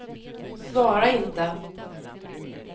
svara inte